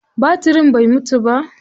Batirin bai mutu ba.